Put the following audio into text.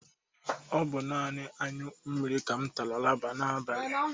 Ọ bụ nani añyụ mmiri ka m tara laba n'abalị